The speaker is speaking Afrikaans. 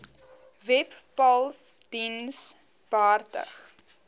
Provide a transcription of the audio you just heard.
webpals diens behartig